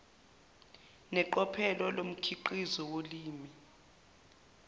neqophelo lomkhiqizo wolimi